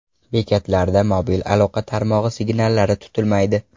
Bekatlarda mobil aloqa tarmog‘i signallari tutilmaydi.